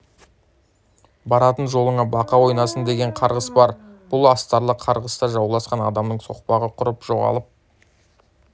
баратын жолыңа бақа ойнасын деген қарғыс бар бұл астарлы қарғыста жауласқан адамның соқпағы құрып жоғалып